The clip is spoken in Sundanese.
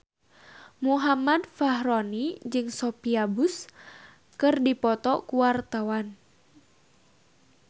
Muhammad Fachroni jeung Sophia Bush keur dipoto ku wartawan